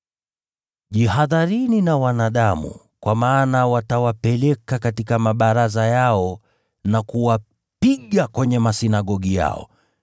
“Jihadharini na wanadamu; kwa maana watawapeleka katika mabaraza yao na kuwapiga kwenye masinagogi yao.